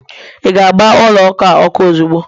ị ga-agba ụlọ ụka a ọkụ ozugbo